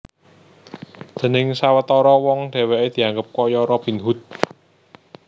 Déning sawetara wong dhèwèké dianggep kaya Robin Hood